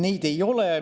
Neid ei ole.